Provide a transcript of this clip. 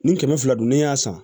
Ni kɛmɛ fila don n'i y'a san